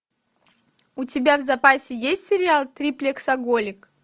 у тебя в запасе есть сериал триплексоголик